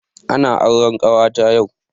Ana auren kawata yau